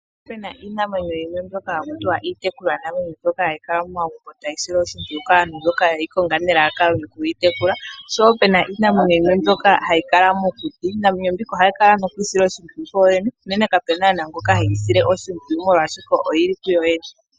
Opena iinamwenyo yimwe mbyoka hakutiwa iitekulwa namwenyo, mbyoka hayi kala momagumbo tayi silwa oshimpwiyu kaantu mboka yeyi konga nelalakano lyokuyi tekula. Oshowo opena iinamwenyo yimwe mbyoka hayi kala mokuti. Iinamwenyo mbika ohayi kala noku isila oshimpwiyu kuyoyene. Uunene kapuna naana ngoka heyisile oshimpwiyu molwashoka oyili kuyoyene.